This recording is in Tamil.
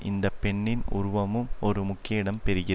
இந்த பெண்ணின் உருவமும் ஒரு முக்கிய இடம் பெறுகி